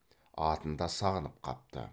атын да сағынып қапты